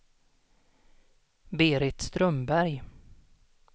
Berit Strömberg